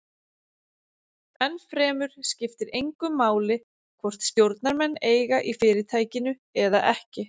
Ennfremur skiptir engu máli hvort stjórnarmenn eiga í fyrirtækinu eða ekki.